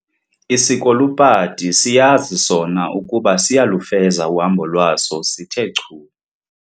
Isikolupati siyazi sona ukuba siyalufeza uhambo lwaso sithe chu.